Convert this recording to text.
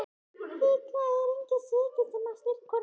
Líklega er enginn svikinn sem á slíka konu.